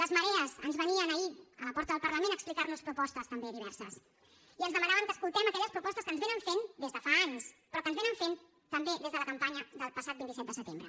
les marees ens venien ahir a la porta del parlament a explicar nos propostes també diverses i ens demanaven que escoltéssim aquelles propostes que ens fan des de fa anys però que ens fan també des de la campanya del passat vint set de setembre